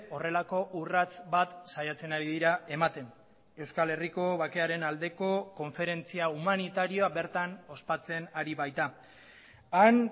horrelako urrats bat saiatzen ari dira ematen euskal herriko bakearen aldeko konferentzia humanitarioa bertan ospatzen ari baita han